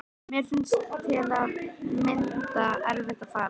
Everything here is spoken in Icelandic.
Mér fannst til að mynda erfitt að fara þaðan.